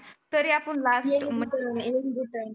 तरी आपण लागले